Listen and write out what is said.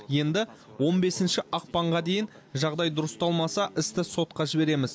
енді он бесінші ақпанға дейін жағдай дұрысталмаса істі сотқа жібереміз